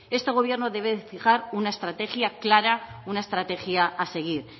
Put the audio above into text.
este gobierno debe fijar una estrategia clara una estrategia a seguir